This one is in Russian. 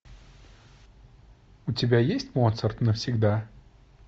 у тебя есть моцарт навсегда